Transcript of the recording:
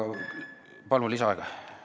Palun lisaaega!